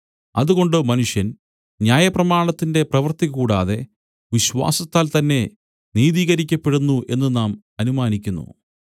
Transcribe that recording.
അതുകൊണ്ട് മനുഷ്യൻ ന്യായപ്രമാണത്തിന്റെ പ്രവൃത്തികൂടാതെ വിശ്വാസത്താൽ തന്നെ നീതീകരിക്കപ്പെടുന്നു എന്നു നാം അനുമാനിക്കുന്നു